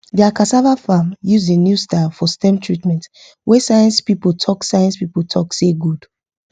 their cassava farm use the new style for stem treatment wey science people talk science people talk say good